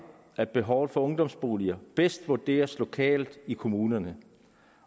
at behovet for ungdomsboliger bedst vurderes lokalt i kommunerne